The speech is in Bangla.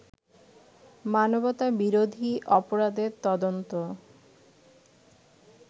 মানবতাবিরোধী অপরাধের তদন্ত